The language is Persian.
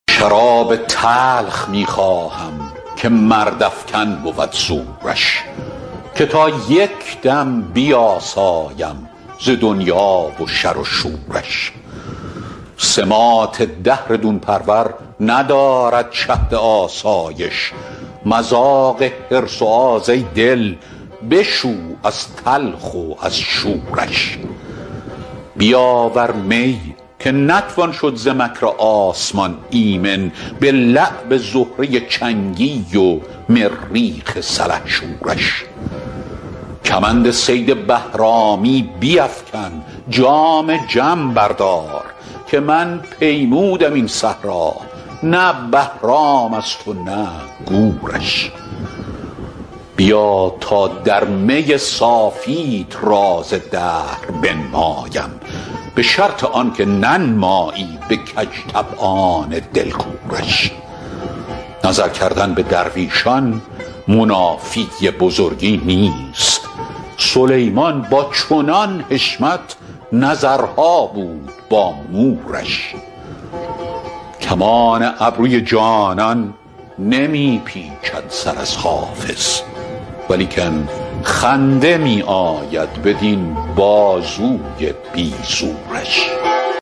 شراب تلخ می خواهم که مردافکن بود زورش که تا یک دم بیاسایم ز دنیا و شر و شورش سماط دهر دون پرور ندارد شهد آسایش مذاق حرص و آز ای دل بشو از تلخ و از شورش بیاور می که نتوان شد ز مکر آسمان ایمن به لعب زهره چنگی و مریخ سلحشورش کمند صید بهرامی بیفکن جام جم بردار که من پیمودم این صحرا نه بهرام است و نه گورش بیا تا در می صافیت راز دهر بنمایم به شرط آن که ننمایی به کج طبعان دل کورش نظر کردن به درویشان منافی بزرگی نیست سلیمان با چنان حشمت نظرها بود با مورش کمان ابروی جانان نمی پیچد سر از حافظ ولیکن خنده می آید بدین بازوی بی زورش